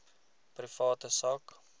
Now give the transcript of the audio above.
private sak